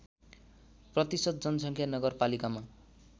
प्रतिशत जनसङ्ख्या नगरपालिकामा